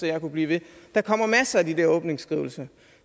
jeg kunne blive ved der kommer masser af de der åbningsskrivelser